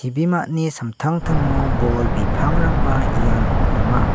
samtangtango bol bipangrangba iano donga.